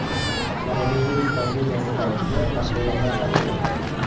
Koronavirus pandemiyasi paytida mashg‘ulotlar qanday o‘tadi?